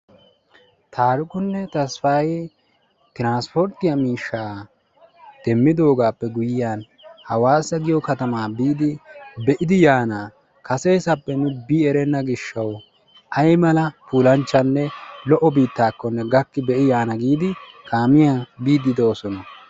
Taarikunne Tasppaayee tiranspporttiya miishshaa demmidoogaappe guyyiyan Awaasa giyo katamaa biidi be'idi yaana. Kaseesappe nu bi erenna gishshawu aymala puulanchchanne lo"o biittakko gakki be'i yaana giidi kaamiyan biiddi doosona.